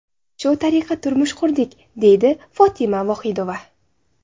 Shu tariqa turmush qurdik”, deydi Fotima Vohidova.